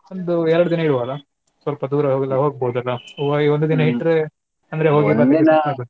ಒಂದು ಎರ್ಡ್ ದಿನ ಇಡ್ವಾ ಅಲ್ಲಾ ಸ್ವಲ್ಪ ದೂರ ಎಲ್ಲಾ ಹೋಗ್~ ಹೋಗ್ಬೋದಲ್ಲ ವ್~ ಒಂದು ದಿನ ಇಟ್ರೆ .